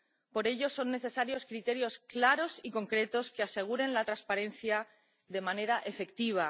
Por ello son necesarios criterios claros y concretos que aseguren la transparencia de manera efectiva.